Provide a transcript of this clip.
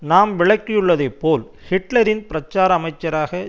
நாம் விளக்கியுள்ளதைப்போல் ஹிட்லரின் பிரச்சார அமைச்சராக